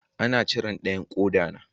An cire dayan koda na